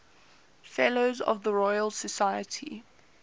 fellows of the royal society